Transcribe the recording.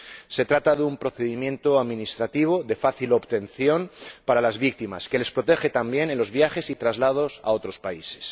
Se trata de un procedimiento administrativo de fácil obtención para las víctimas, que les protege también en los viajes y traslados a otros países.